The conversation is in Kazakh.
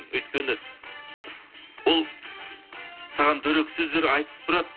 өйткені ол саған дөрекі сөздер айтып тұрады